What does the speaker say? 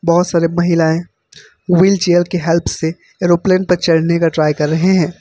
बहोत सारी महिलाएं व्हीलचेयर की हेल्प से ऐरोप्लेन तक चढ़ने का ट्रायल कर रहे है।